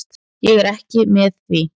Ég er ekki með því.